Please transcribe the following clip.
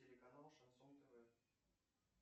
телеканал шансон тв